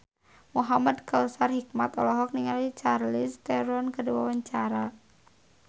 Muhamad Kautsar Hikmat olohok ningali Charlize Theron keur diwawancara